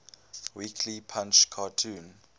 weekly punch cartoon